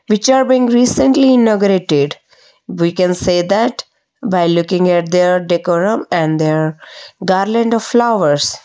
which are being recently inaugurated we can say that by looking at there decorum and their garland of flowers.